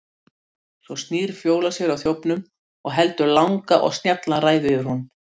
Svo snýr Fjóla sér að þjófnum og heldur langa og snjalla ræðu yfir honum.